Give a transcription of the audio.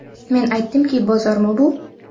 Men aytdimki, bozormi bu?